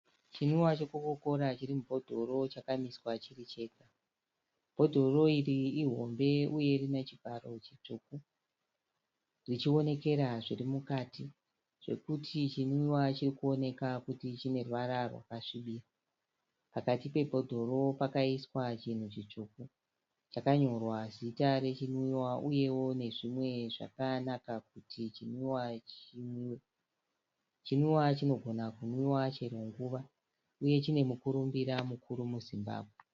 Chinwiwa che Coca Cola chiri mubhodhoro chakamiswa chirii chega. Bhodhoro iri ihombe uye rine chívharo chitsvuku. Richionekera zvirimukati. Zvekuti chinwiwa chirikuoneka kuti chine ruvara rwakasvibira. Pakati pebhodhoro pakaiswa chinhu chitsvuku. Chakanyorwa Zita rechinwiwa, uyewo nezvimwe zvakanaka kuti chinwiwa chinwiwe . Chinwiwa chinogona kunwiwa chero nguva, uye chine mukurumbira mukuru muZimbsbwe .